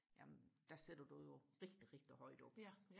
jamen der sætter du jo rigtig rigtig højt oppe